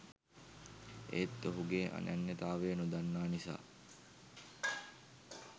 ඒත් ඔහුගේ අනන්‍යතාවය නොදන්නා නිසා